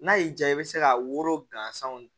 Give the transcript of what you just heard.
N'a y'i diya i bɛ se ka woro gansanw